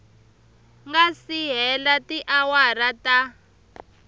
nga si hela tiawara ta